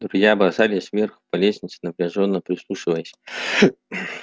друзья бросились вверх по лестнице напряжённо прислушиваясь